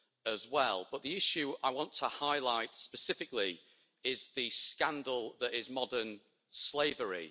as well, but the issue I want to highlight specifically is the scandal that is modern slavery.